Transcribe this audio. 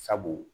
Sabu